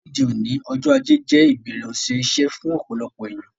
Lóde òní, ọjọ́ ajé je ìbẹ̀rẹ̀ òsẹ̀ isẹ́ fún ọ̀pọ̀lọpọ̀ èyàn